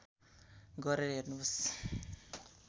गरेर हेर्नुहोस्